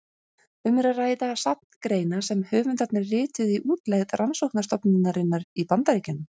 Um er að ræða safn greina sem höfundarnir rituðu í útlegð rannsóknarstofnunarinnar í Bandaríkjunum.